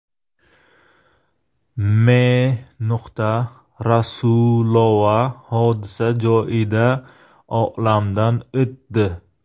M. Rasulova hodisa joyida olamdan o‘tdi.